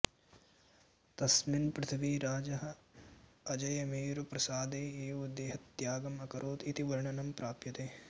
तस्मिन् पृथ्वीराजः अजयमेरुप्रासादे एव देहत्यागम् अकरोत् इति वर्णनं प्राप्यते